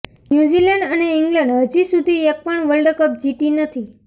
New Zealand અને England હજી સુધી એક પણ વખત વર્લ્ડ કપ જીતી નથી